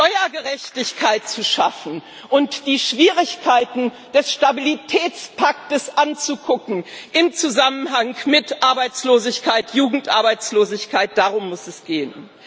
Steuergerechtigkeit zu schaffen und die Schwierigkeiten des Stabilitätspakts anzugucken im Zusammenhang mit Arbeitslosigkeit, Jugendarbeitslosigkeit darum muss es gehen!